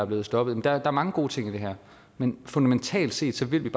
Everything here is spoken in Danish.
blevet stoppet der er mange gode ting i det her men fundamentalt set vil